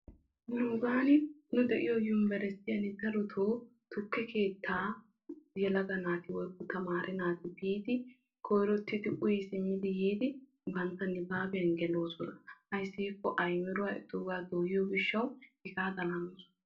nuugaani nu de'iyo yunbbersstiyan darotoo tukke keettaa yelaga naati woykko tamaare naati yiidi koyrottidi uyi simmidi bantta nibaabbiyan geloosona. ayssi giikko aymiruwa etaagaa dooyiyo gishaassi hegaadan hanoosona.